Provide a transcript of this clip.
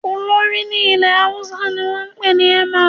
Olórí ní ilẹ̀ Haúsá ni wọ́n ń pè ní "Emir"